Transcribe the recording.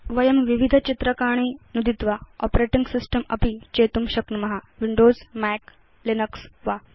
वयं विविध चित्रकाणि नुदित्वा आपरेटिंग सिस्टम् अपि चेतुं शक्नुम विंडोज मैक लिनक्स वा